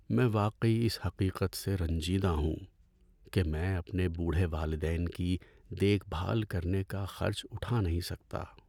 میں واقعی اس حقیقت سے رنجیدہ ہوں کہ میں اپنے بوڑھے والدین کی دیکھ بھال کرنے کا خرچ اٹھا نہیں سکتا۔